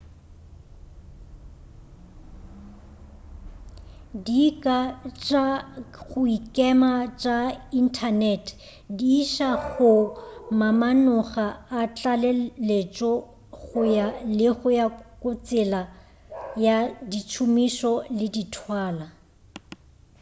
dika tša go ikema tša inthanete di iša go mamanoga a tlaleletšo go ya le ka tsela ya ditšhomišo le dithalwa